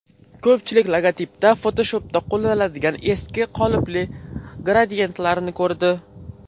Ko‘pchilik logotipda Photoshop’da qo‘llaniladigan eski qolipli gradiyentlarni ko‘rdi.